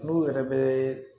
N'u yɛrɛ bɛ